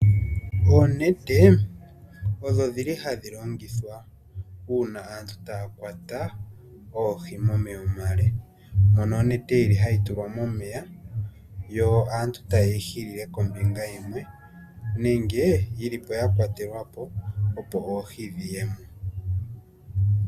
Oonete odho dhili hadhi longithwa uuna aantu taya kwata oohi momeya omale, mono onete hayi tulwa momeya yo aantu taye yi hililile kombinga yimwe nenge yilipo ya kwatelwa po opo oohi dhiyemo.